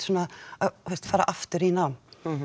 að fara aftur í nám